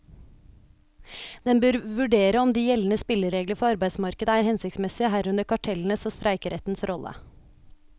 Den bør vurdere om de gjeldende spilleregler for arbeidsmarkedet er hensiktsmessige, herunder kartellenes og streikerettens rolle.